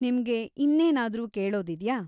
ನಿಮ್ಗೆ ಇನ್ನೇನಾದ್ರೂ ಕೇಳೋದಿದ್ಯಾ?